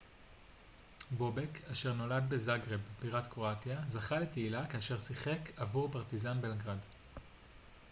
בובק אשר נולד בזגרב בירת קרואטיה זכה לתהילה כאשר שיחק עבור פרטיזן בלגרד